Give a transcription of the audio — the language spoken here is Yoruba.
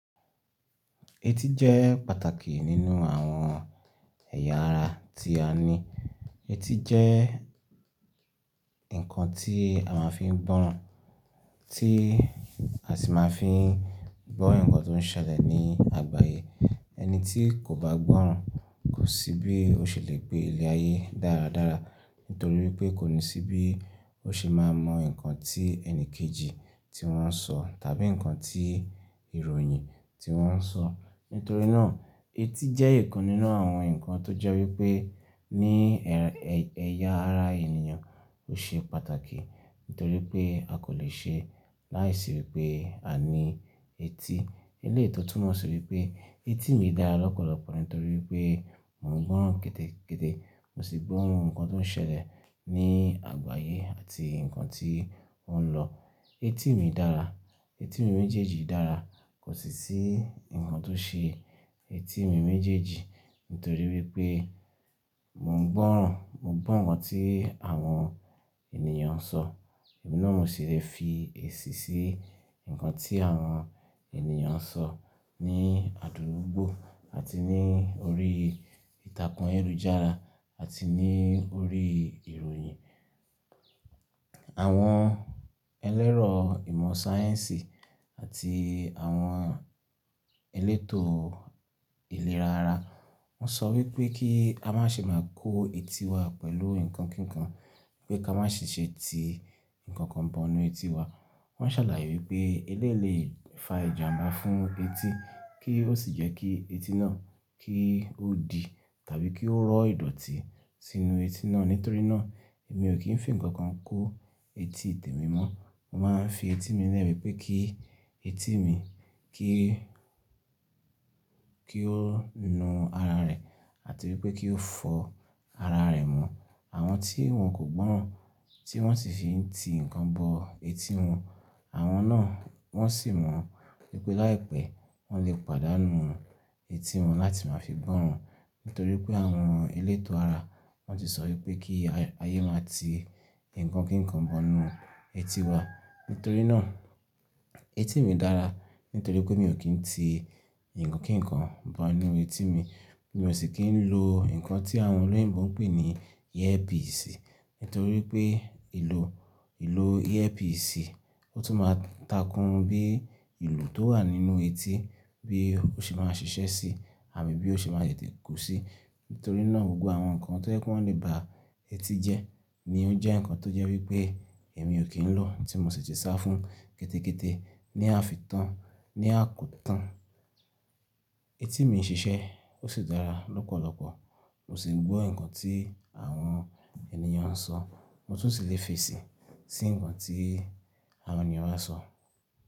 Etí jẹ́ pàtàkì nínú àwọn ẹ̀yà ara tí a ní. Etí jẹ́ ǹkan tí a máa ń fi gbọ́ràn, tí a sì máa ń fi gbọ́ ǹkan tó ń ṣẹlẹ̀ ní àgbáyé. Ẹni tí kò bá gbọ́ràn kò sí bí ó ṣe le gbé ilé ayé dáradára nítorí pé kò ní sí bí ó ṣe máa mọ ǹkan tí ẹni kejì tí wọ́n ń sọ tàbí ǹkan tí ìròyìn tí wọ́n ń sọ. Nítorí náà, etí jẹ́ ẹ̀kan nínú àwọn ǹkan tó jẹ́ wípé ní ẹyà ara ènìyàn ó ṣe pàtàkì. Nítorí pé a kò lè ṣe láìsí pé a ní etí. Elétò tún mọ̀ sọ wípé etí mi dára lọ́pọ̀lọpọ̀ nítorí wípé mò ń gbọ́ràn kétékété, mo sì gbọ́ ǹkan tó ń ṣẹlẹ̀ ní àgbáyé àti ǹkan tí ó ń lọ. Etí mi dára, etí mi méjèèjì dára, kò sì sí ǹkan tó ṣe etí mi méjèèjì nítorí wípé mò ń gbọ́ràn, mò ń gbọ́ ǹkan tí àwọn ènìyàn ń sọ, èmi náà mo sì le fi èsì sí ǹkan tí àwọn ènìyàn ń sọ ní àdúgbò àti ní orí ìtàkùn aleyújára àti ní orí ìròyìn. Àwọn ẹlẹ́rọ ìmọ̀ sáyẹ́ǹsì àti àwọn elétò ìlera ara wọ́n sọ wípé kí a má ṣe máa kó etí wa pẹ̀lú ǹkan kíkan, wípé ká má ṣe ti ǹkan kan bọ inú etí wa. Wọ́n ṣàlàyé wípé elé le fa ìjàmbá fún etí kí ó sì jẹ́ kí etí náà kí ó di tàbí kí ó rọ́ ìdọ̀tí sínú etí náà. Nítorí náà, èmi ò kí ń fi ǹkan kan kó etí tèmi mọ́. Mo máa ń fi etí mi lẹ́rù wípé kí etí mi kí, kí ó nu ara rẹ̀ àti wípé kí ó fọ ara rẹ̀ mọ́. Àwọn tí wọ́n kò gbọ́ràn tí wọ́n sì ti fi ǹkan bọ etí wọn, àwọn náà wọ́n sì mọ̀ wípé láìpẹ́ wọ́n lè pàdánù etí wọn láti máa fi gbọ́ràn. Nítorí pé àwọn elétò ara wọ́n ti sọ wípé kí ayé máa ti ǹkan kíkan bọ inú etí wa. Nítorí náà, etí mi dára, nítorí pé mi ò kí ń ti ǹkan kíkan bọ inú etí mi. Èmi ò sì kí ń lo ǹkan tí àwọn olóyè ń bọ̀ ń pè ní earpiece. Nítorí pé ìlò, ìlò earpiece ó tún máa ń takún bí ìlú tó wà nínú etí bí ó ṣe máa ń ṣiṣẹ́ sí àbí bí ó ṣe máa yẹ ti kù sí. Nítorí náà, gbogbo àwọn ǹkan tó jẹ́ pé wọ́n lè ba etí jẹ́ ni ó jẹ́ ǹkan tó jẹ́ wípé èmi ò kí ń lò tí mo sì ti sá fún kétékété ní àfi tán, ní àkútán. Etí mi ń ṣiṣẹ́, ó sì dára lọ́pọ̀lọpọ̀. Mo sì gbọ́ ǹkan tí àwọn ènìyàn ń sọ, mo tún lè fi èsì sí ǹkan tí àwọn ènìyàn bá sọ.